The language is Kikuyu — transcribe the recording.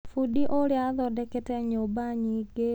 Bundi ũrĩ athondekete nyũmba nyingĩ.